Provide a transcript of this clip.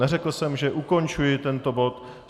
Neřekl jsem, že ukončuji tento bod.